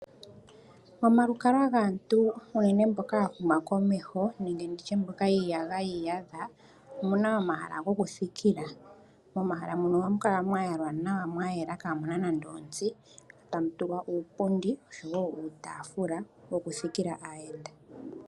Mondunda moka hamu tulwa aayenda ngele yeya oku talelapo oha mu kala mwatulwa iipundi ya yalwa nawa oshowo oshitafula tashi nonika nawa mo ka muna otsi oku thikila aayenda.